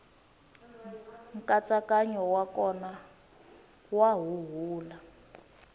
nkatsakanyo wa kona wa huhula